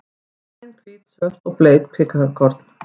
Græn, hvít, svört og bleik piparkorn.